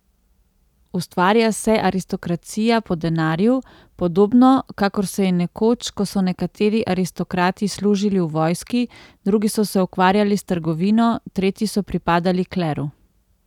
Ustvarja se aristokracija po denarju, podobno kakor se je nekoč, ko so nekateri aristokrati služili v vojski, drugi so se ukvarjali s trgovino, tretji so pripadali kleru.